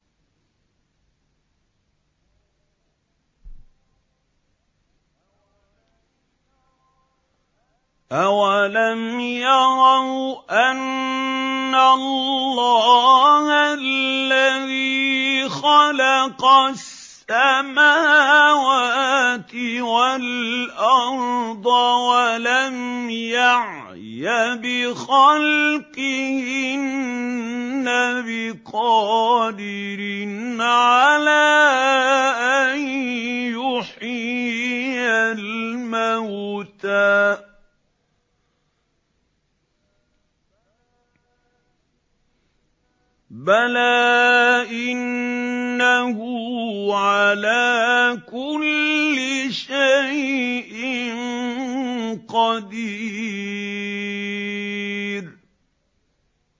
أَوَلَمْ يَرَوْا أَنَّ اللَّهَ الَّذِي خَلَقَ السَّمَاوَاتِ وَالْأَرْضَ وَلَمْ يَعْيَ بِخَلْقِهِنَّ بِقَادِرٍ عَلَىٰ أَن يُحْيِيَ الْمَوْتَىٰ ۚ بَلَىٰ إِنَّهُ عَلَىٰ كُلِّ شَيْءٍ قَدِيرٌ